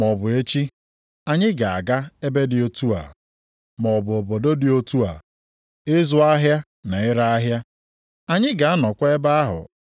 Kama ihe unu ga-ekwu bụ nke a, “Ọ bụrụ na Onyenwe anyị ekwe, anyị ga-adị ndụ, mee nke a maọbụ nke ọzọ.”